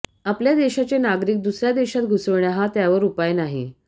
आपल्या देशाचे नागरिक दुसऱया देशात घुसविणे हा त्यावर उपाय नाही